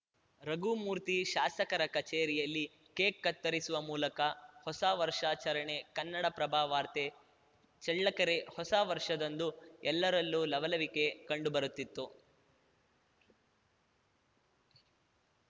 ರಘುಮೂರ್ತಿ ಶಾಸಕರ ಕಚೇರಿಯಲ್ಲಿ ಕೇಕ್‌ ಕತ್ತರಿಸುವ ಮೂಲಕ ಹೊಸ ವರ್ಷಾಚರಣೆ ಕನ್ನಡಪ್ರಭ ವಾರ್ತೆ ಚಳ್ಳಕೆರೆ ಹೊಸ ವರ್ಷದಂದು ಎಲ್ಲರಲ್ಲೂ ಲವಲವಿಕೆ ಕಂಡುಬರುತ್ತಿತ್ತು